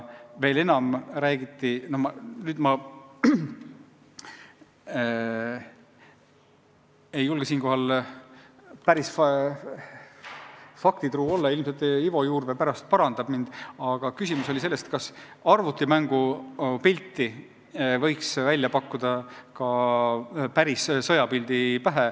Veel enam, arutati – ma ei julge siinkohal päris faktidele pretendeerida, ilmselt Ivo Juurvee pärast parandab mind –, kas arvutimängu pilti võiks välja pakkuda ka päris sõjapildi pähe.